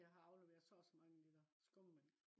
og jeg har afleveret så og så mange liter skummemælk